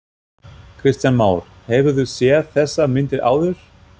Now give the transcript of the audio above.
Kristján Már: Hefurðu séð þessar myndir áður?